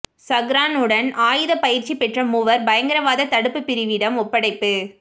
சஹ்ரானுடன் ஆயுத பயிற்சி பெற்ற மூவர் பயங்கரவாத தடுப்பு பிரிவிடம் ஒப்படைப்பு